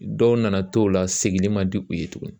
Dɔw nana to la seginni man di u ye tuguni